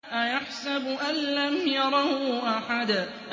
أَيَحْسَبُ أَن لَّمْ يَرَهُ أَحَدٌ